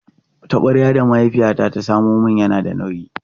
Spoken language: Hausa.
Taɓaryar da mahaifiyata ta samo min na da nauyi.